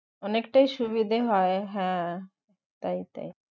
অনেকটাই সুবিধে হয় তাই তাই